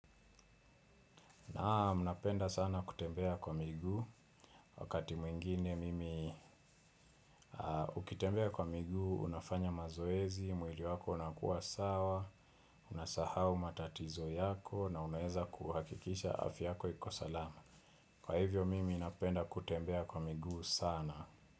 Naam napenda sana kutembea kwa miguu wakati mwingine mimi ukitembea kwa miguu unafanya mazoezi, mwili wako unakuwa sawa, unasahau matatizo yako na unaeza kuhakikisha afya yako iko salama. Kwa hivyo mimi napenda kutembea kwa miguu sana.